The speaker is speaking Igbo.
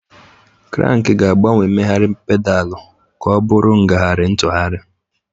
Kranki ga-agbanwe mmegharị pedalu ka ọ bụrụ ngagharị ntụgharị.